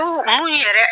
mun yɛrɛ